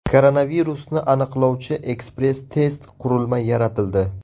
Koronavirusni aniqlovchi ekspress-test qurilma yaratildi.